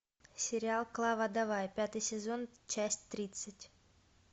сериал клава давай пятый сезон часть тридцать